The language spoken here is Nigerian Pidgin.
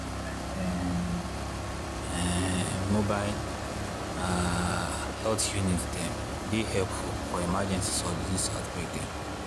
like [um][um]mobile ah health units dem dey helpful for emergencies or disease outbreak dem